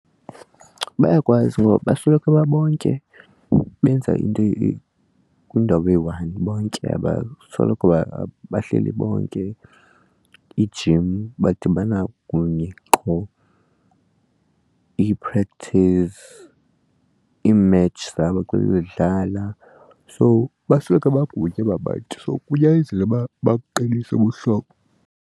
Bayakwazi ngoba basoloko babonke benza into kwiindawo eyi-one bonke abasoloko bahleli bonke, ijim badibana kunye qho, ii-practice, ii-match zabo xa bedlala. So basoloko bakunye aba bantu so kunyazelekile uba babuqinise ubuhlobo.